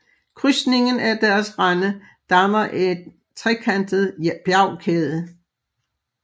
Krydsningen af deres rande danner en trekantet bjergkæde